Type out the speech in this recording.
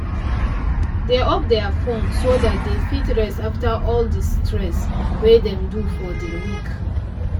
dey off their fone so dat dey fit rest after all the the stress wey dem do for the week